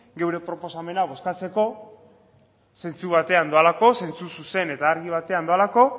gure proposamena bozkatzeko zentzu batean doalako zentzu zuzen eta argi batean doalako